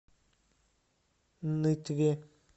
нытве